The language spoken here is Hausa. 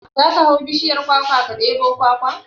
Za ka hau bishiyar kwakwa ka ɗebo kwakwa?